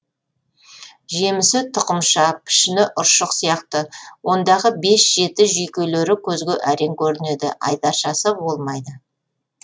жемісі тұқымша пішіні ұршық сияқты ондағы бес жеті жүйкелері көзге әрең көрінеді айдаршасы болмайды